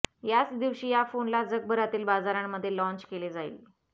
याच दिवशी या फोनला जगभरातील बाजारांमध्ये लॉन्च केले जाईल